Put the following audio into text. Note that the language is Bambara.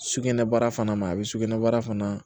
Sugunɛbara fana ma a bɛ sugunɛbara fana